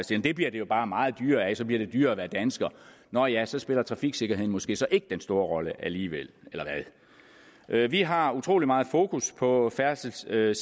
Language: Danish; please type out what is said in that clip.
side det bliver det jo bare meget dyrere af og så bliver det dyrere at være dansker nå ja så spiller trafiksikkerheden måske så ikke den store rolle alligevel eller hvad vi har utrolig meget fokus på færdselssikkerheden